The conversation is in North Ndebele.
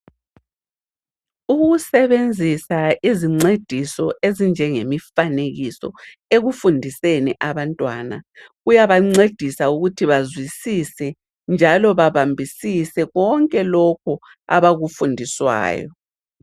Ukusebenzisa izincediso ezinjenge mifanekiso ekufundiseni abantwana, kuyabancedisa ukuthi bazwisise njalo babambisise konke lokhu abakufundiswayo.